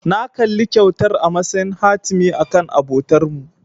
Na kalli kyautar a matsayin hatimi akan abotarmu.